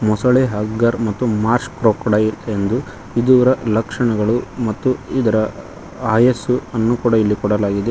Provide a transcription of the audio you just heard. ಮೊಸಳೆ ಮಗ್ಗರ್ ಮತ್ತು marsh crocodile ಎಂದು ಇದೂರ ಲಕ್ಷಣಗಳು ಮತ್ತು ಇದರ ಆಯಸ್ಸನ್ನು ಕೂಡ ಕೊಡಲಾಗಿದೆ.